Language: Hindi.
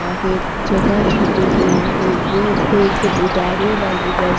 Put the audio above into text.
आ है जगह छोटी हुई है ये एक बिदारे वाली बस --